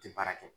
Tɛ baara kɛ